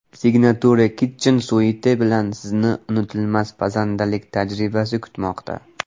Signature Kitchen Suite bilan sizni unutilmas pazandalik tajribasi kutmoqda.